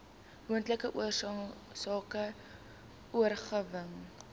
moontlike oorsake oorerwing